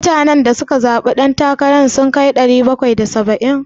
Mutanen da suka zaɓe dan takara ki sun kai ɗari bakwai da saba'in?